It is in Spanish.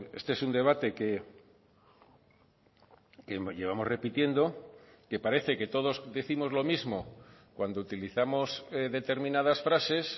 este es un debate que llevamos repitiendo que parece que todos décimos lo mismo cuando utilizamos determinadas frases